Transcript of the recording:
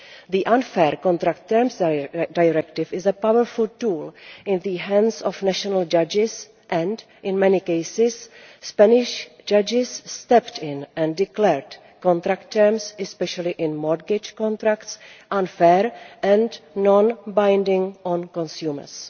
The Unfair Contract Terms Directive is a powerful tool in the hands of national judges and, in many cases, Spanish judges stepped in and declared contract terms, especially in mortgage contracts, unfair and non binding on consumers.